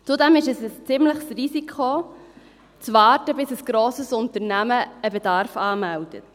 Zudem ist es ein ziemliches Risiko, zu warten, bis ein grosses Unternehmen einen Bedarf anmeldet.